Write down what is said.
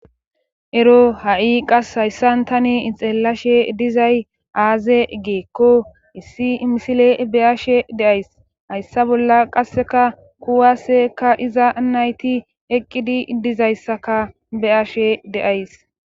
ero ha7i qas hayssan tane ixelashe dizay aaze geekko issi misile be7aashe deays hayssa bolla qasseka kuwaaseka iza nayti eqqidi dizayssaka be7ashe deays